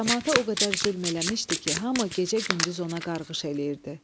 Camaata o qədər zülm eləmişdi ki, hamı gecə-gündüz ona qarğış eləyirdi.